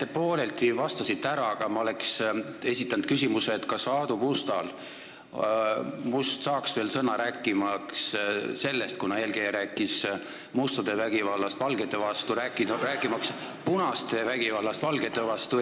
Te pooleldi vastasite ära, aga ma oleks esitanud küsimuse, kas Aadu Must saaks veel sõna, rääkimaks punaste vägivallast valgete vastu Eestis aastatel need ja need, 1940 näiteks.